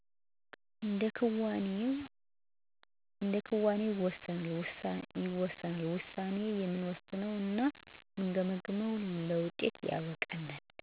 እንደ ክዋኔዋኔው ይወሰናል ይወሰናል የምንወሰነወ እና ምንገመግመው ለውጤት ያበቃናል።